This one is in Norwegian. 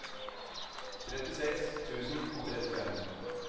trettiseks tusen og trettifem